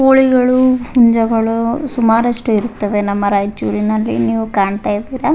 ಕೋಳಿಗಳು ಹುಂಜಗಳು ಸುಮಾರಷ್ಟು ಇರ್ತದೆ ನಮ್ಮ ರಾಯಚೂರನಲ್ಲಿ ನೀವ್ ಕಾಣ್ತಾ ಇದ್ದೀರಾ.